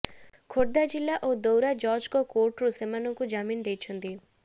ଖୋର୍ଦ୍ଧା ଜିଲ୍ଲା ଓ ଦୌରା ଜଜ୍ଙ୍କ କୋର୍ଟରୁ ସେମାନଙ୍କୁ ଜାମିନ ଦେଇଛନ୍ତି